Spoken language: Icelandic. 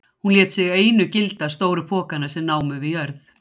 Og hún lét sig einu gilda stóru pokana sem námu við jörð.